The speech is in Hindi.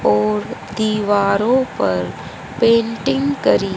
और दीवारों पर पेंटिंग करी--